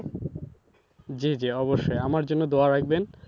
জি জি অবশ্যই। আমার জন্য দোয়া রাখবেন।